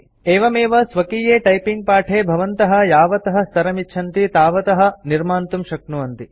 एवमेव स्वकीये टाइपिंग पाठे भवन्तः यावतः स्तरानिच्छन्ति तावतः निर्मातुं शक्नुवन्ति